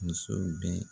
Muso bɛ